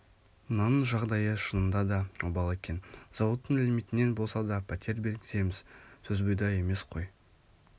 мынаның жағдайы шынында да обал екен зауыттың лимитінен болса да пәтер бергіземіз сөзбұйда емес қой